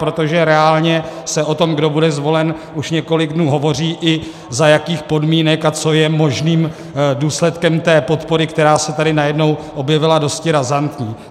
Protože reálně se o tom, kdo bude zvolen, už několik dnů hovoří, i za jakých podmínek a co je možným důsledkem té podpory, která se tady najednou objevila dosti razantní.